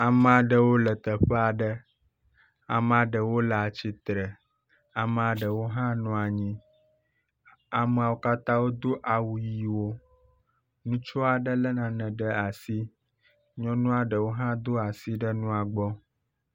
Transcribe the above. Ame aɖewo le teƒe aɖe. Ame ɖewo le atsitre. Ame ɖewo hã nɔ anyi. Amewo katã wodo awu ʋiwo. Ŋutsu aɖe lé nane ɖe asi. Nyɔnu aɖewo hã do asi ɖe nua gbɔ